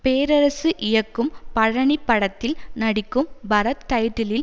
பேரரசு இயக்கும் பழனி படத்தில் நடிக்கும் பரத் டைட்டிலில்